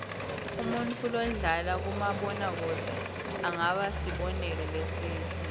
umuntfu lodlala kumabona kudze angaba sibonelo lesihle